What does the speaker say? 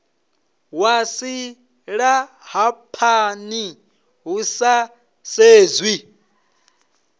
wa silahapani hu sa sedzwi